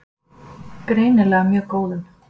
Greinilega mjög góðum.